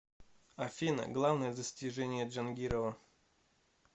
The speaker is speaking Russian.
афина главное достижение джангирова